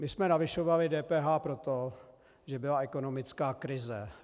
My jsme navyšovali DPH proto, že byla ekonomická krize.